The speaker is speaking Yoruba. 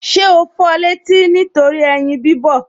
Ṣé o fọ létí nítorí ẹyin bí bọ̀